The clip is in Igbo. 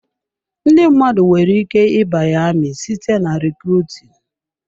Ndị mmadụ nwere ike ịbanye amị site na rekrutinu.